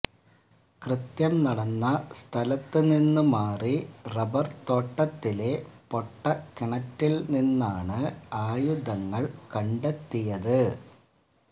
കൃത്യം നടന്ന സ്ഥലത്ത് നിന്ന് മാറി റബ്ബർ തോട്ടത്തിലെ പൊട്ടകിണറ്റിൽ നിന്നാണ് ആയുധങ്ങൾ കണ്ടെത്തിയത്